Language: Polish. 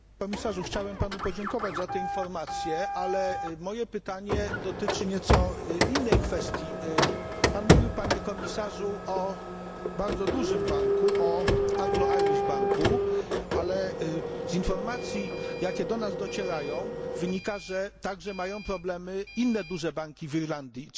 Panie Przewodniczący! Panie Komisarzu! Chciałem Panu podziękować za te informacje, ale moje pytanie dotyczy nieco innej kwestii. Pan mówił, Panie Komisarzu, o bardzo dużym banku o Anglo Irish Banku, ale z informacji, jakie do nas docierają wynika, że także mają problemy inne duże banki w Irlandii.